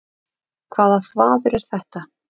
Hvaða þvaður er þetta?